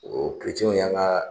O o Kerecɛnw y'an ka